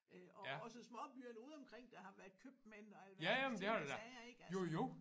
Øh og også småbyerne ude omkring der har været købmænd og alverdens ting og sager ikke altså